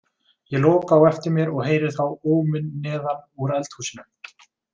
Ég loka á eftir mér og heyri þá óminn neðan úr eldhúsinu.